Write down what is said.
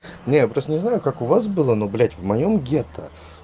нет просто не знаю как у вас было но блять в моём гетто